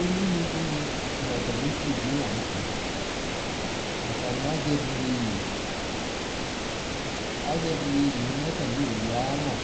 elune di ni no atame ukpi bi lantɛ, atane azɛvi yeye, azɛvi yeye no atame owu ayi alɔ,